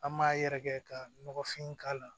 An m'a yɛrɛkɛ ka nɔgɔfin k'a la